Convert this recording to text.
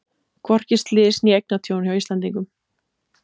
Hvorki slys né eignatjón hjá Íslendingum